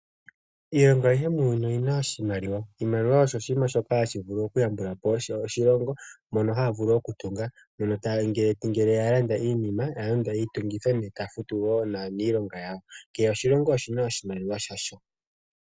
Iilongo ayihe muuyuni oyina oshimaliwa. Iimaliwa osho oshinima shoka hashi vulu oku yambulapo oshilongo mono haya vulu oku tunga ngele ya landa iinima. Ya landa iitungitho ta futu wo naanilonga yawo. Kehe oshilongo oshina oshimaliwa shasho.